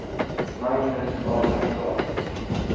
Magnus Abrahamsson